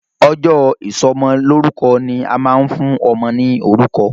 Ọjọ́ ìsọmọlórúkọ ni a máa ń fún ọmọ ní orúkọ.